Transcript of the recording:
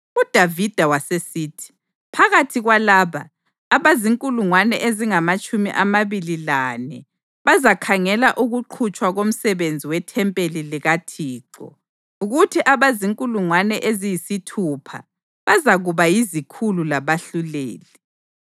UDavida wasesithi: “Phakathi kwalaba, abazinkulungwane ezingamatshumi amabili lane bazakhangela ukuqhutshwa komsebenzi wethempeli likaThixo kuthi abazinkulungwane eziyisithupha bazakuba yizikhulu labahluleli.